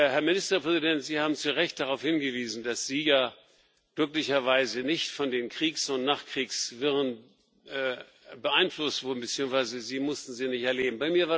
Herr Ministerpräsident, Sie haben zu Recht darauf hingewiesen, dass Sie ja glücklicherweise nicht von den Kriegs und Nachkriegswirren beeinflusst wurden beziehungsweise Sie mussten sie nicht erleben.